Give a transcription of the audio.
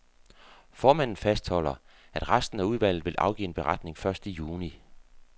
Formanden fastholder, at resten af udvalget vil afgive en beretning først i juni.